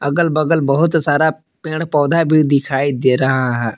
अगल बगल बहोत सारा पेड़ पौधा भी दिखाई दे रहा है।